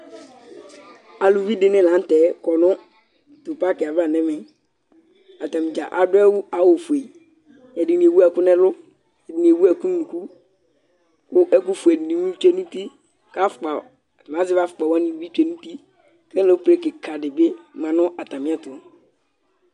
Aluvi dɩnɩ la nʋ tɛ akɔ nʋ tʋ pakɩ ava nɛmɛ Atanɩ dza adʋ awʋ fueƐdɩnɩ ewu ɛkʋ nɛlʋ, ɛdɩnɩ ewu ɛkʋ nʋ unuku, kʋ ɛkʋ fue dɩnɩ bɩ tsue nʋ utiazɛvɩ afʋkpa wanɩ bɩ tsue nʋ utiƆlʋ be kɩka dɩ bɩ ma nʋ atamɩɛtʋ